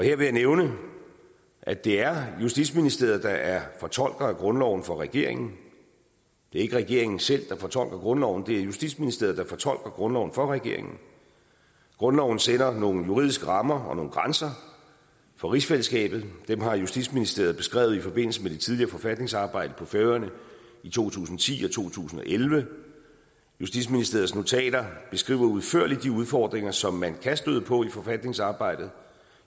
jeg nævne at det er justitsministeriet der er fortolker af grundloven for regeringen det er ikke regeringen selv der fortolker grundloven det er justitsministeriet der fortolker grundloven for regeringen grundloven sætter nogle juridiske rammer og nogle grænser for rigsfællesskabet og dem har justitsministeriet beskrevet i forbindelse med det tidligere forfatningsarbejde på færøerne i to tusind og ti og to tusind og elleve justitsministeriets notater beskriver udførligt de udfordringer som man kan støde på i forfatningsarbejdet